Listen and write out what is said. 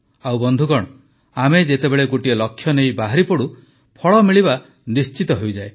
ଆଉ ବନ୍ଧୁଗଣ ଆମେ ଯେତେବେଳେ ଗୋଟିଏ ଲକ୍ଷ୍ୟ ନେଇ ବାହାରିପଡ଼ୁ ଫଳ ମିଳିବା ନିଶ୍ଚିତ ହୋଇଯାଏ